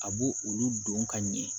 A b'o olu don ka ɲɛ